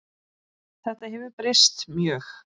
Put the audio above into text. Þetta hefur breyst mjög.